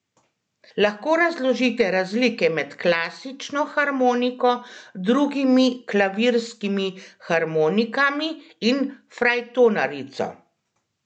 Lahko razložite razlike med klasično harmoniko, drugimi klavirskimi harmonikami in frajtonarico?